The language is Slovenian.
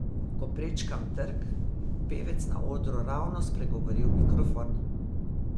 Ko prečkam trg, pevec na odru ravno spregovori v mikrofon.